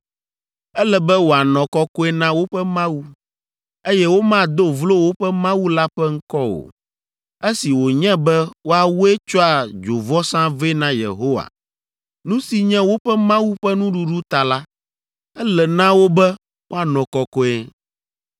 Ele be woanɔ kɔkɔe na woƒe Mawu, eye womado vlo woƒe Mawu la ƒe ŋkɔ o. Esi wònye be woawoe tsɔa dzovɔsa vɛ na Yehowa, nu si nye woƒe Mawu ƒe nuɖuɖu ta la, ele na wo be woanɔ kɔkɔe.